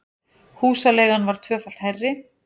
Húsaleigan var tvöfalt hærri